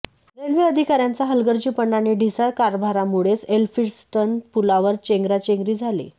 railway अधिकाऱयांचा हलगर्जीपणा आणि ढिसाळ कारभारामुळेच एल्फिन्स्टन पुलावर चेंगराचेंगरी झाली